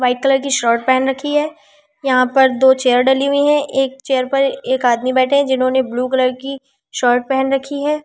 White colour की shirt पहन रखी है यहां पर दो चेयर डली हुई है एक चेयर पर एक आदमी बैठे हैं जिन्होंने ब्लू कलर की शर्ट पहन रखी है।